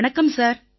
வணக்கம் சார்